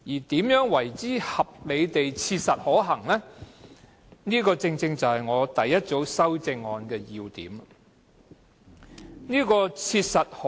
至於何謂合理地切實可行，正是我第一組修正案的要點所在。